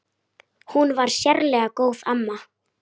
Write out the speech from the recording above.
Hún var sérlega góð amma.